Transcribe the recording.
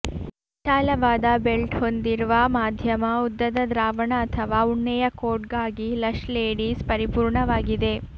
ವಿಶಾಲವಾದ ಬೆಲ್ಟ್ ಹೊಂದಿರುವ ಮಧ್ಯಮ ಉದ್ದದ ದ್ರಾವಣ ಅಥವಾ ಉಣ್ಣೆಯ ಕೋಟ್ಗಾಗಿ ಲಷ್ ಲೇಡೀಸ್ ಪರಿಪೂರ್ಣವಾಗಿದೆ